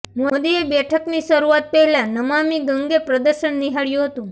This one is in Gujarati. મોદીએ બેઠકની શરૂઆત પહેલા નમામિ ગંગે પ્રદર્શન નિહાળ્યું હતું